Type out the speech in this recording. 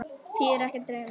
Því er ekki að leyna.